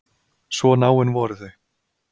Svo náin voru þau.